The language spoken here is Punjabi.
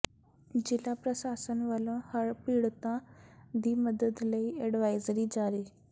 ਜ਼ਿਲ੍ਹਾ ਪ੍ਰਸ਼ਾਸਨ ਵੱਲੋਂ ਹੜ੍ਹ ਪੀੜਤਾਂ ਦੀ ਮਦਦ ਲਈ ਐਡਵਾਈਜ਼ਰੀ ਜਾਰੀ